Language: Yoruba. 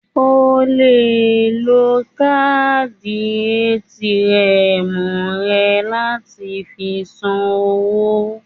O le lo káàdì ATM rẹ láti fi san owó.